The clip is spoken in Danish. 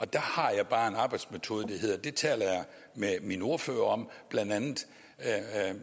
der har jeg bare en arbejdsmetode der hedder at det taler jeg med mine ordførere om blandt andet